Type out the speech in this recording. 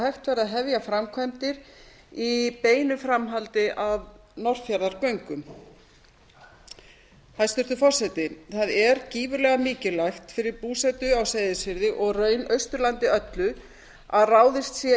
hægt verði að hefja framkvæmdir í beinu framhaldi af norðfjarðargöngum hæstvirtur forseti það er gífurlega mikilvægt fyrir búsetu á seyðisfirði og í raun austurlandi öllu að ráðist sé